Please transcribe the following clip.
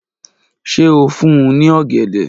Ṣe o fun u ni ogede?